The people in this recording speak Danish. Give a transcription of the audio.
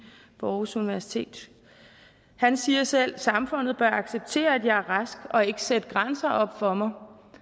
på aarhus universitet han siger selv samfundet bør acceptere at jeg er rask og ikke sætte grænser op for mig